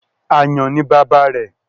Àyàn ni bàbá rẹ̀.